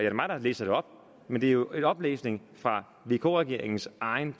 er mig der læser det op men det er jo en oplæsning fra vk regeringens egen